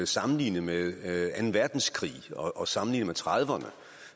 sammenligne med anden verdenskrig og sammenligne med nitten trediverne